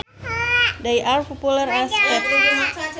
They are popular as pets